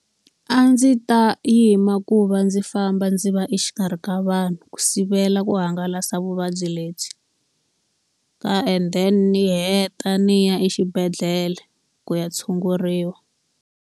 A ndzi ta yima ku va ndzi famba ndzi va exikarhi ka vanhu, ku sivela ku hangalasa vuvabyi lebyi. Ka and then ni heta ni ya exibedhlele ku ya tshunguriwa.